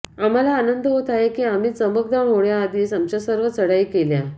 आम्हाला आनंद होत आहे की आम्ही चमकदार होण्याआधीच आमच्या सर्व चढाई केल्या